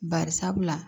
Barisabula